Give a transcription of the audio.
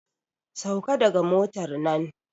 Sauka daga motar nan!